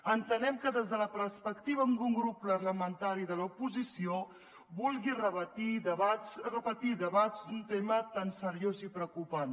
entenem que des de la perspectiva d’un grup parlamentari de l’oposició vulgui repetir debats d’un tema tan seriós i preocupant